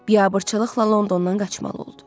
Biabırçılıqla Londondan qaçmalı oldu.